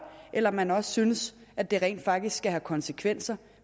eller om man også synes at det rent faktisk skal have konsekvenser